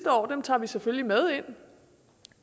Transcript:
år og dem tager vi selvfølgelig med ind